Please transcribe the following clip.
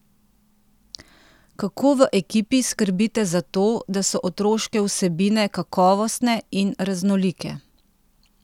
Kako v ekipi skrbite za to, da so otroške vsebine kakovostne in raznolike?